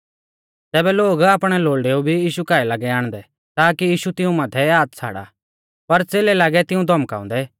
तैबै लोग आपणै लोल़डेऊ भी यीशु काऐ लागै आणदै ताकी यीशु तिऊं माथै हाथ छ़ाड़ा पर च़ेलै लागै तिऊं धौमकाउंदै